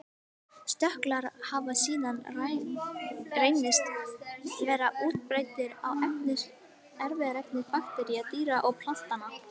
Stökklar hafa síðan reynst vera útbreiddir í erfðaefni baktería, dýra og plantna.